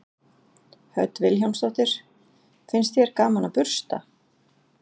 Hödd Vilhjálmsdóttir: Finnst þér gaman að bursta?